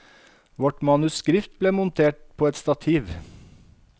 Vårt manuskript ble montert på et stativ.